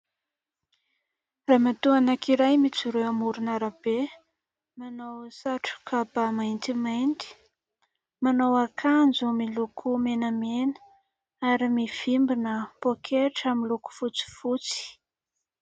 Ramatoa anankiray mijoro eo amoron'arabe. Manao satroka bà maintimainty, manao akanjo miloko menamena, ary mivimbina pôketra miloko fotsifotsy.